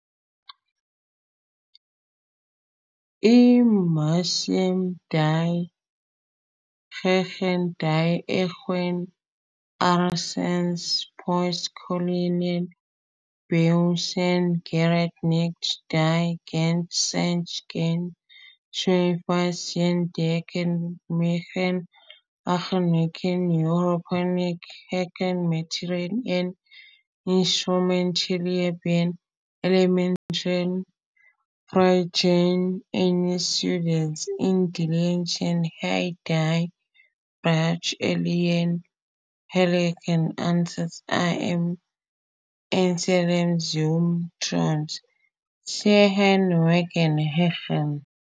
I-Musik, die, gegen die Erwartungen unseres "postkolonialen" Bewusstseins, gerade nicht die große Geste sucht, keine schwarze Faust zeigt, die vielmehr auf seiner sehr europäisch geschulten Material- und Instrumentalebene elementare Fragen eines südis indelist hier die Bratsche, allen gegenläufigen Umständen im Ensemble zum Trotz, seinen Weg gehen?